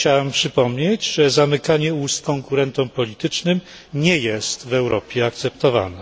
Chciałem przypomnieć, że zamykanie ust konkurentom politycznym nie jest w Europie akceptowane.